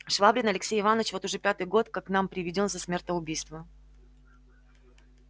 швабрин алексей иваныч вот уж пятый год как к нам преведён за смертоубийство